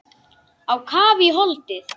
Á kaf í holdið.